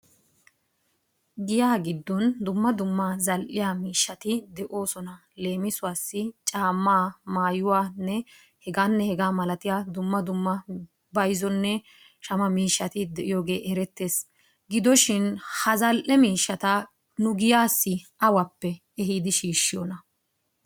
Giyaa giddon dumma dumma zal'iya miishshati de'oosona. Leemisuwassi caammaa maayuwanne hegaanne hegaa malatiya dumma dumma bayizonne shama miishshati de'iyogee erettes. Gidoshin ha zal'e miishshata nu giyaassi awappe ehiidi shiishshiyonaa?